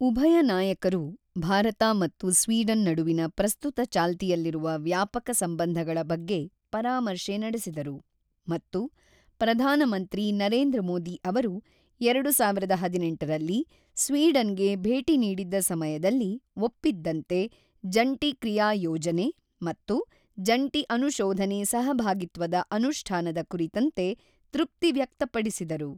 ಉಭಯ ನಾಯಕರು ಭಾರತ ಮತ್ತು ಸ್ವೀಡನ್ ನಡುವಿನ ಪ್ರಸ್ತುತ ಚಾಲ್ತಿಯಲ್ಲಿರುವ ವ್ಯಾಪಕ ಸಂಬಂಧಗಳ ಬಗ್ಗೆ ಪರಾಮರ್ಶೆ ನಡೆಸಿದರು ಮತ್ತು ಪ್ರಧಾನಮಂತ್ರಿ ನರೇಂದ್ರ ಮೋದಿ ಅವರು ಎರಡು ಸಾವಿರದ ಹದಿನೆಂಟರಲ್ಲಿ ಸ್ವೀಡನ್ ಗೆ ಭೇಟಿ ನೀಡಿದ್ದ ಸಮಯದಲ್ಲಿ ಒಪ್ಪಿದ್ದಂತೆ ಜಂಟಿ ಕ್ರಿಯಾ ಯೋಜನೆ ಮತ್ತು ಜಂಟಿ ಅನುಶೋಧನೆ ಸಹಭಾಗಿತ್ವದ ಅನುಷ್ಠಾನದ ಕುರಿತಂತೆ ತೃಪ್ತಿ ವ್ಯಕ್ತಪಡಿಸಿದರು.